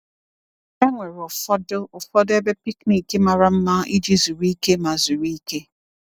E nwere ụfọdụ ụfọdụ ebe picnic mara mma iji zuru ike ma zuru ike.